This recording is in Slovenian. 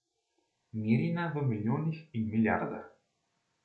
Merjena v milijonih in milijardah.